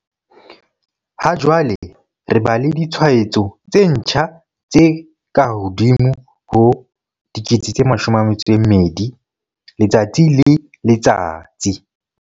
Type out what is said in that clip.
Ha jwale re ba le ditshwaetso tse ntjha tse kahodimo ho 12 000 letsatsi le letsatsi.